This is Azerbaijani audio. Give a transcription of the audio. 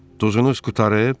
Duzunuz qurtarıb?